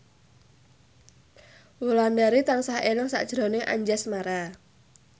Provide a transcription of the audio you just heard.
Wulandari tansah eling sakjroning Anjasmara